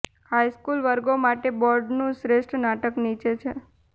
high school વર્ગો માટે બાર્ડનું શ્રેષ્ઠ નાટક નીચે છે